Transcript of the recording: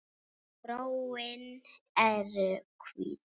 Gróin eru hvít.